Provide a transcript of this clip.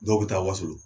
Dɔw bɛ taa wasolon